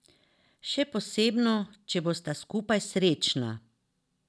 Še posebno, če bosta skupaj srečna.